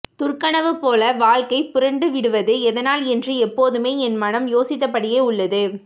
துர்கனவு போல வாழ்க்கை புரண்டுவிடுவது எதனால் என்று எப்போதுமே என் மனம் யோசித்தபடியே உள்ளது